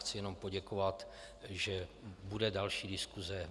Chci jenom poděkovat, že bude další diskuse.